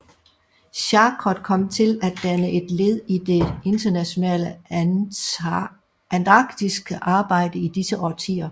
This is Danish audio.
Charcot kom til at danne et led i det internationale antarktiske arbejde i disse årtier